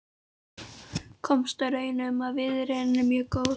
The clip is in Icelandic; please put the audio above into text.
Komst að raun um að viðurinn er mjög góður.